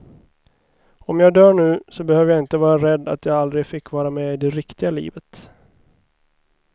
Om jag dör nu, så behöver jag inte vara rädd att jag aldrig fick vara med i det riktiga livet.